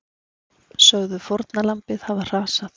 Sögðu fórnarlambið hafa hrasað